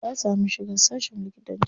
Ta samu shiga sashin likitanci.